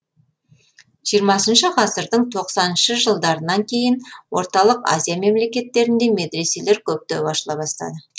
жиырмасыншы ғасырдың тоқсаныншы жылдарынан кейін орталық азия мемлекеттерінде медреселер көптеп ашыла бастады